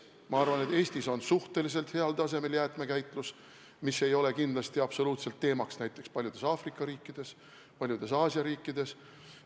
Ma arvan, et Eestis on suhteliselt heal tasemel jäätmekäitlus, mis ei ole kindlasti mitte mingiks teemaks näiteks paljudes Aafrika riikides ja paljudes Aasia riikides.